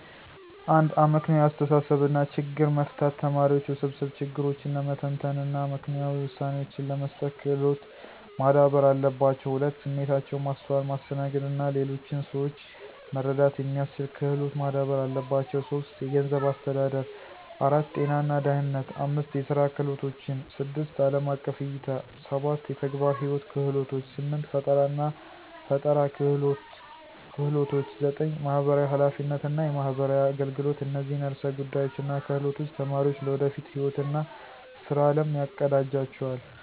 1. አመክንዮአዊ አስተሳሰብ እና ችግር መፍታት ተማሪዎች ውስብስብ ችግሮችን ለመተንተን እና አመክንዮአዊ ውሳኔዎችን ለመስጠት ክሎት ማዳበር አለባቸው። 2. ስሜታቸውን ማስተዋል፣ ማስተናገድ እና ሌሎችን ሰዎች መረዳት የሚስችል ክሎት ማዳበር አለባቸው። 3. ገንዘብ አስተዳደር 4. ጤና እና ደህነነት 5. የስራ ክህሎቶችን 6. አለም አቀፍ እይታ 7. የተግባር ህይዎት ክህሎቶች 8. ፈጠራናፈጠራ ክህሎች 9. የማህበራዊ ሐላፊነት እና የማህበራዊ አገልገሎት እነዚህን ዕርሰ ጉዳዮች እና ክህሎቶች ተማሪዎች ለወደፊት ህይዎት እና ስራ አለም ያቀዳጅላቸዋል።